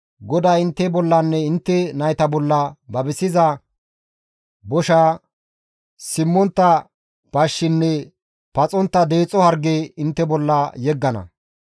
GODAY intte bollanne intte nayta bolla babisiza bosha, simmontta bashshinne paxontta deexo harge intte bolla yeggana.